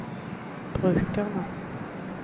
brukerne